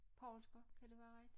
Poulsker kan det være rigtigt?